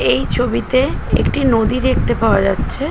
এই ছবিতে একটি নদী দেখতে পাওয়া যাছে--